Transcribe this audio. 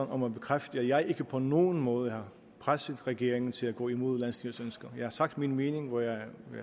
om at bekræfte at jeg ikke på nogen måde har presset regeringen til at gå imod landsstyrets ønsker jeg har sagt min mening hvor jeg